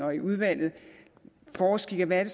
og i udvalget forsker i hvad